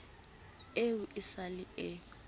eo e sa le e